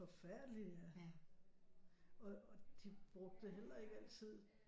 Forfærdeligt ja og og de brugte heller ikke altid